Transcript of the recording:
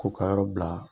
Ko ka yɔrɔ bila